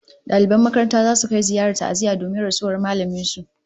Daliban makarantar zasu kai ziyarar ta'aziyya domin rasuwar mallamin su